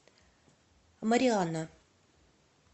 мариана